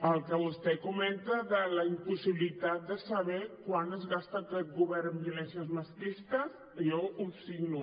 el que vostè comenta de la impossibilitat de saber quant es gasta aquest govern en violències masclistes jo ho signo